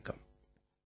பலப்பல நன்றிகள்